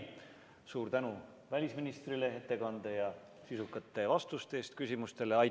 Suur tänu välisministrile ettekande ja sisukate vastuste eest küsimustele!